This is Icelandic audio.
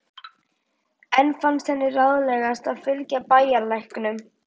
Enn fannst henni ráðlegast að fylgja bæjarlæknum.